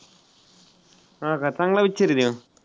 हां का चांगला picture आहे तो.